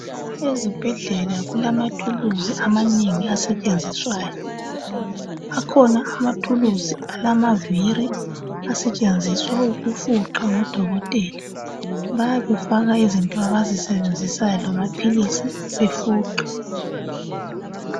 Ezibhedlela kulamathuluzi amanenge asetshenziswayo. Akhona amathuluzi alamaviri asetshenziswa ukufuqa ngodokotela. Bayabe befaka izinto abazisebenzisayo lamaphilisi, befuqa.